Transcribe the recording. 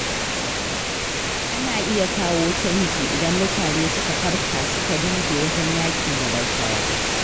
Ana iya kawo canji idan mutane suka farka suka dage wajen yaƙi da rashawa.